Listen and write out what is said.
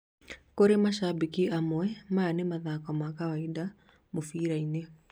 kurĩ mashabĩki amwe, Maya nĩ mathako ma kawaida mũbira-inĩ